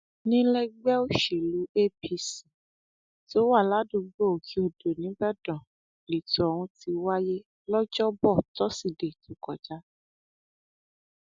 nílẹẹgbẹ òsèlú apc tó wà ládùúgbò òkèadó nìbàdàn lẹtọ ohun ti wáyé lọjọbọ tosidee tó kọjá